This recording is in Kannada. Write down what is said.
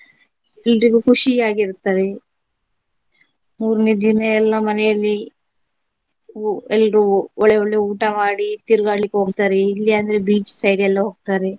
ಎಲ್ರಿಗೂ ಖುಷಿಯಾಗಿರ್ತಾರೆ ಮೂರನೇ ದಿನ ಎಲ್ಲಾ ಮನೆಯಲ್ಲಿ ಊ~ ಎಲ್ರೂ ಒಳ್ಳೆ ಒಳ್ಳೆ ಊಟ ಮಾಡಿ ತಿರುಗಾಡ್ಲಿಕ್ಕೆ ಹೋಗ್ತಾರೆ ಇಲ್ಲಿ ಅಂದ್ರೆ beach side ಎಲ್ಲ ಹೋಗ್ತಾರೆ.